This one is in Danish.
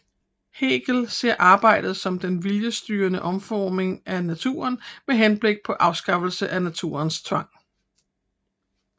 Hegel ser arbejdet som den viljesstyrede omformning af naturen med henblik på afskaffelse af naturens tvang